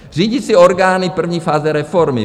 "Řídící orgány první fáze reformy.